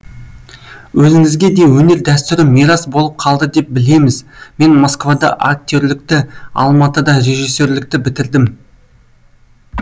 өзіңізге де өнер дәстүрі мирас болып қалды деп білеміз мен москвада актерлікті алматыда режиссерлікті бітірдім